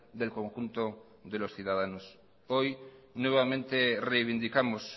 del conjunto de los ciudadanos hoy nuevamente reivindicamos